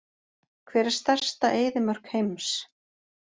Hver er stærsta eyðimörk heims?